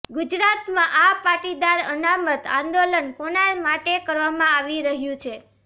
ગુજરાતમાં આ પાટીદાર અનામત આંદોલન કોના માટે કરવામાં આવી રહ્યું છે